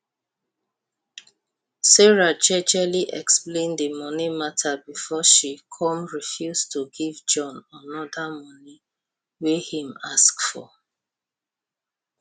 sarah jejely explain the money matter before she come refuse to give john another money wey im ask for